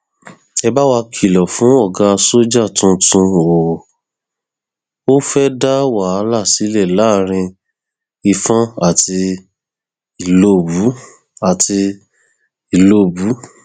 ẹ bá wa kìlọ fún ọgá sójà tuntun o ò fẹẹ dá wàhálà sílẹ láàrin ìfọn àti ìlọbù àti ìlọbù